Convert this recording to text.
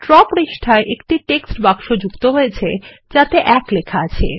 draw পৃষ্ঠায় একটি text বাক্স যুক্ত হয়েছে যাতে ১ লেখা আছে